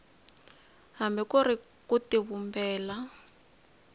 hambi ku ri ku tivumbela